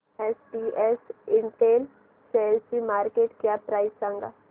SPS Intel शेअरची market cap price सांगा